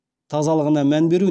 тазалығына мән беру